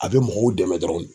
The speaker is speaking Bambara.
A be mɔgɔw dɛmɛ dɔrɔn de.